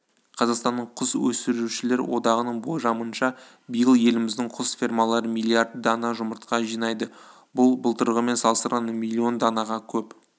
қазақстанның құс өсірушілер одағының болжамынша биыл еліміздің құс фермалары миллиард дана жұмыртқа жинайды бұл былтырғымен салыстырғанда миллион данаға көп